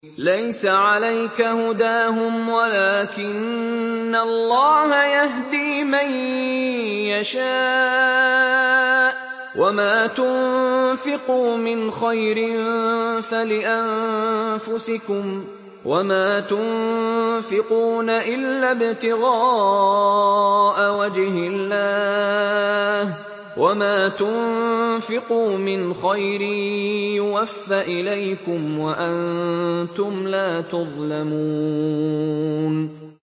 ۞ لَّيْسَ عَلَيْكَ هُدَاهُمْ وَلَٰكِنَّ اللَّهَ يَهْدِي مَن يَشَاءُ ۗ وَمَا تُنفِقُوا مِنْ خَيْرٍ فَلِأَنفُسِكُمْ ۚ وَمَا تُنفِقُونَ إِلَّا ابْتِغَاءَ وَجْهِ اللَّهِ ۚ وَمَا تُنفِقُوا مِنْ خَيْرٍ يُوَفَّ إِلَيْكُمْ وَأَنتُمْ لَا تُظْلَمُونَ